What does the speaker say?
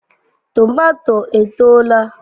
Tomato etoola?